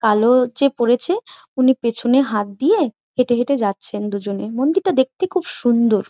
কালো যে পরেছে উনি পেছনে হাত দিয়ে হেঁটে হেঁটে যাচ্ছে দুজনে মন্দির টা তো দেখতে খুব সুন্দর।